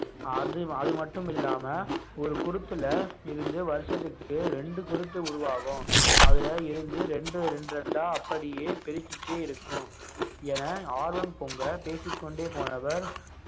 அது அது மட்டும் இல்லாம ஒரு குருத்துல இருந்து வருஷத்துக்கு ரெண்டு குருத்து உருவாகும் அதுல இருந்து ரெண்டு ரெண்டு ரெண்டா அப்படியே பெருகிட்டே இருக்கும் என ஆர்வம் பொங்க பேசிக்கொண்டே போனவர்